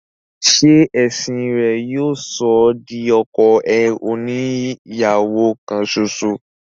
ṣe ẹ̀sìn rẹ̀ yóò sọ ọ́ di ọkọ oni ìyàwó kan ṣoṣo?